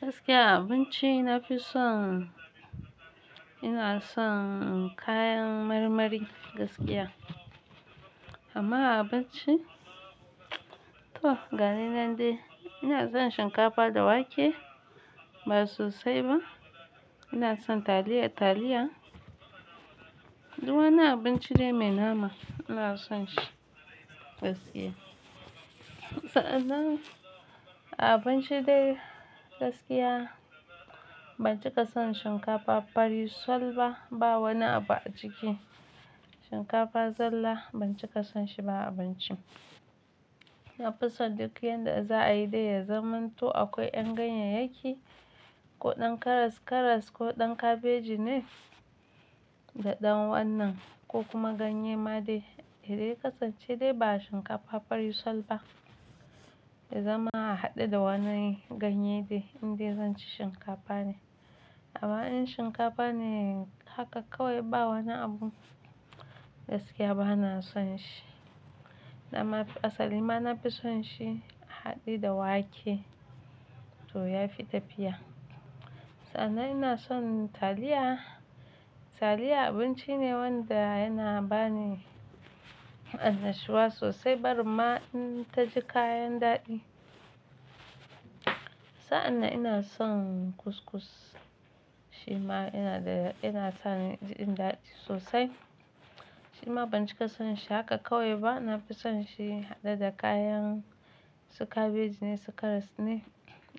Gaskiya abinci na fi son, ina son kayan marmari gaskiya. Amma abinci to, ga ni nan dai ina son shinkafa da wake ba sosai ba. Ina son taliya, taliya. Duk wani abinci dai mai nama ina son shi gaskiya. Sa'an nan a abinci dai gaskiya ban cika son shinkafa farisol ba, ba wani abu a ciki. Shinkafa zalla ban cika son shi ba a abinci. Na fi son duk yanda za a yi dai ya zamanto akwai ƴan ganyeyyaki, ko ɗan karas-karas, ko ɗan kabeji ne, da ɗan wannan ko kuma ganye ma dai, dai dai ƙasance dai ba shinkafa farisol ba. Da zaman a haɗe da wannan ganye dai, indai zan ci shinkafa ne. Amma in shinkafa ne haka kawai ba wani abu gaskiya ba na son shi. Amma asali ma na fi son shi haɗe da wake to ya fi tafiya. Sa'an nan ina son taliya. Taliya abinci ne wanda yana ba ni annashuwa sosai, bari ma in ta ji kayan daɗi. Sa'an nan ina son kuskus shi ma ina da, ina sa ni jin daɗi sosai. Shi ma ban cika son shi haka kawai ba, na fi son shi haɗe da kayan su kabeji ne, su karas ne,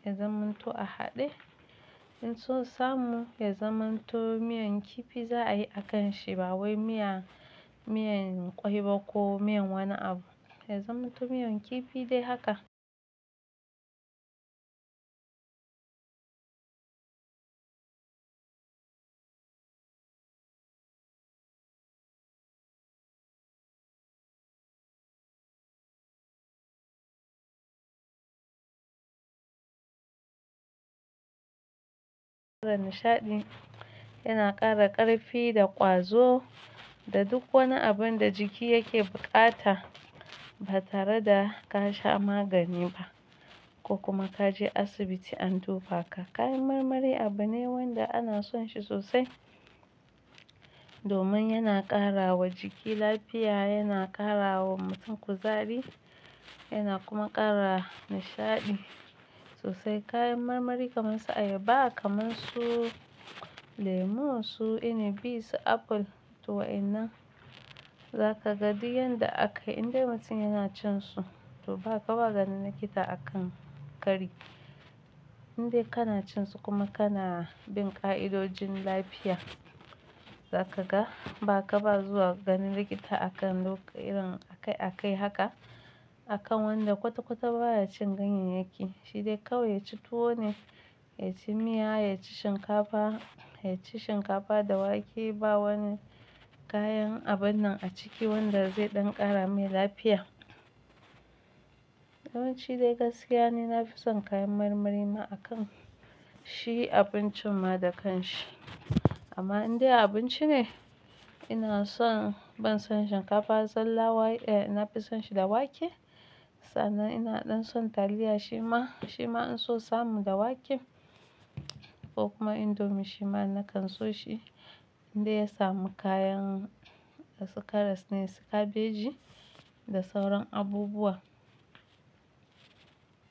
ya zamanto a haɗe. In sosamu ya zamanto miyan kifi za a yi a kan shi ba wai miya, miyan ƙwai ba ko miyan wani abu. Ya zamanto miyan kifi dai haka. Da nishaɗi yana ƙara ƙarfi da ƙwazo da duk wani abun da jiki yake buƙata ba tare da ka sha magani ba ko kuma ka je asibiti an tufa ka. Kayan marmari abu ne wanda ana son shi sosai domin yana ƙarawa jiki lafiya, yana ƙarawa mutum kuzari, yana kuma ƙara nishaɗi sosai. Kayan marmari kamar su ayaba, kamar su lemu, su inabi, su apple, to wa'ina za ka gani yanda aka indai mutum yana cin su to ba ka ba gani likita a kan kari. Indai kana cin su kuma kana bin ƙa'idojin lafiya, za ka ga ba ka ba zuwa gani likita a kan lok-- irin akai akai haka a kan wanda kwata-kwata ba ya cin ganyeyyaki. Shi dai kawai ya ci tuwo ne, ya ci miya, ya ci shinkafa, ya ci shinkafa da wake ba wani kayan abun nan a ciki wanda zai ɗan ƙara mai lafiya. Yawanci ai gaskiya ne na fi son kayan marmari ma a kan shi abincin ma da kanshi. Amma indai abinci ne ina son ban son shinkafa zalla wa-- eh ina fi son shi da wake. Sa'an nan ina ɗan son taliya shi ma, shi ma in sosamu da wake ko kuma indomie shi ma na kanso shi indai ya samu kayan su karas ne su kabeji da sauran abubuwa.